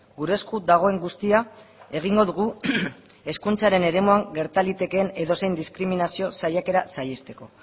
gure esku dagoen guztia egingo dugu hezkuntzaren eremuan gerta litekeen edozein diskriminazio saiakera saihesteko